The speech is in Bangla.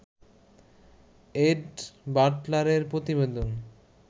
এড বাটলারের প্রতিবেদন